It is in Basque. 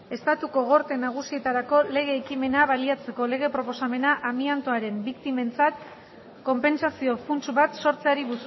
estatuko gorte nagusietarako lege ekimena baliatzeko lege proposamena amiantoaren biktimentzat konpentsazio funts bat sortzeari